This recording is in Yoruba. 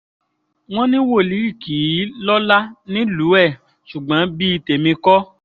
wọ́n ní wòlíì kì í lọ́lá nílùú ẹ̀ ṣùgbọ́n bíi tèmi kọ́